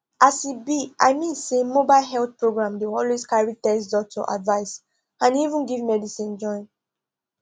as e be i mean say mobile health program dey always carry test doctor advice and even give medicine join